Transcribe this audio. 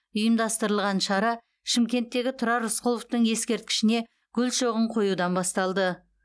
ұйымдастырылған шара шымкенттегі тұрар рысқұловтың ескерткішіне гүл шоғын қоюдан басталды